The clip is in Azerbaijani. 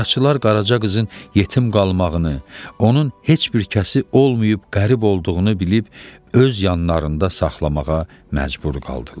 Qaraçılar Qaraca qızın yetim qalmağını, onun heç bir kəsi olmayıb qərib olduğunu bilib öz yanlarında saxlamağa məcbur qaldılar.